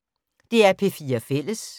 DR P4 Fælles